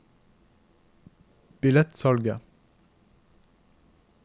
billettsalget